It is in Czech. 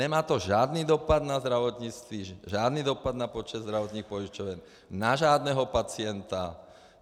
Nemá to žádný dopad na zdravotnictví, žádný dopad na počet zdravotních pojišťoven, na žádného pacienta.